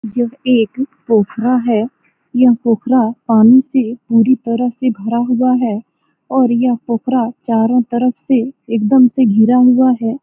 यह एक पोखरा है । यह पोखरा पानी से पूरी तरह से भरा हुआ है और यह पोखरा चारो तरफ से एकदम से घिरा हुआ है ।